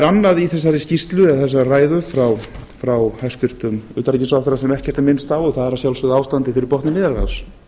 er annað í þessari skýrslu eða þessari ræðu frá hæstvirtum utanríkisráðherra sem ekkert er minnst á og það er að sjálfsögðu ástandið fyrir botni miðjarðarhafs